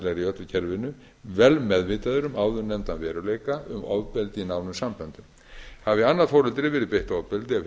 í öllu kerfinu vel meðvitaður um áðurnefndan veruleika um ofbeldi í nánum samböndum hafi annað foreldri verið beitt ofbeldi af hinu